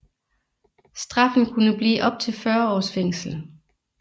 Straffen kunne blive op til 40 års fængsel